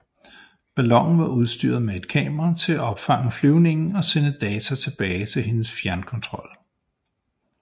Ballonen var udstyret med et kamera til at optage flyvningen og sende data tilbage til hendes fjernkontrol